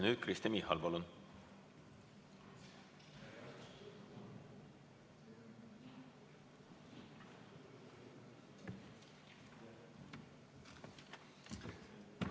Nüüd Kristen Michal, palun!